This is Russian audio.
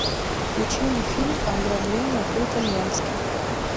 включи мне фильм ограбление по итальянски